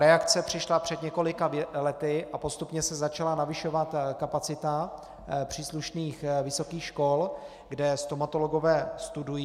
Reakce přišla před několika lety a postupně se začala navyšovat kapacita příslušných vysokých škol, kde stomatologové studují.